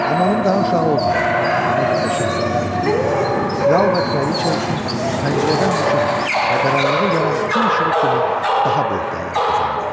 Amma onun daha uşağı olmadı, ona görə də Şahzadə Anjelika kral və kraliça üçün pəncərədən düşən, qaranlığı yaran gün işığı kimi daha böyük dəyər qazandı.